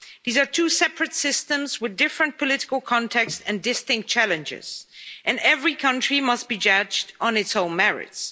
These are two separate systems with different political contexts and distinct challenges, and every country must be judged on its own merits.